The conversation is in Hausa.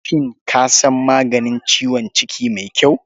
Shin ka san maganin ciwon ciki mai kyau?